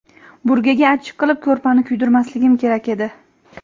Burgaga achchiq qilib ko‘rpani kuydirmasligim kerak edi.